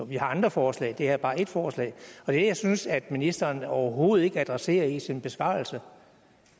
vi har andre forslag det her er bare ét forslag det jeg synes ministeren overhovedet ikke adresserer i sin besvarelse